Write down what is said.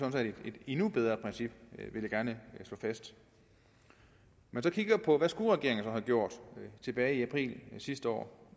endnu bedre princip vil jeg gerne slå fast når man kigger på hvad regeringen så skulle have gjort tilbage i april sidste år